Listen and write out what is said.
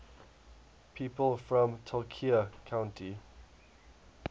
people from tulcea county